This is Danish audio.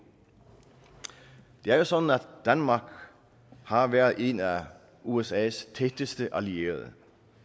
det er jo sådan at danmark har været en af usas tætteste allierede